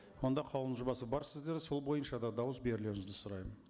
онда қаулының жобасы бар сіздерде сол бойынша да дауыс берулеріңізді сұраймын